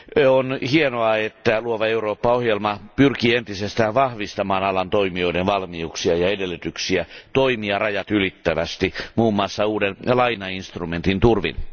On hienoa, että Luova Eurooppa ohjelma pyrkii entisestään vahvistamaan alan toimijoiden valmiuksia ja edellytyksiä toimia rajat ylittävästi muun muassa uuden lainainstrumentin turvin.